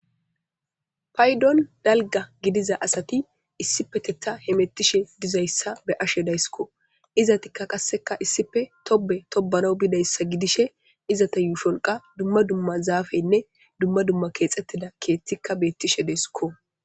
Paydon lalga gidiza asati issipeteta hemettishe dizayssa be ashe dayskko izatikka qasseka issife tobe tobana bidayssa gidishe izata yuusholqa dumma dumma zaafeynne dumma dumma keexxettida keettikka beettishe deesikko